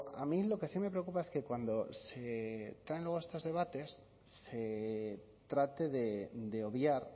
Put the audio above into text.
a mí lo que sí me preocupa es que cuando se traen luego estos debates se trate de obviar